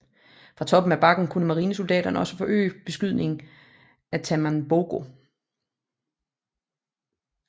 Fra toppen af bakken kunne marinesoldaterne også forøge beskydningen af Tanambogo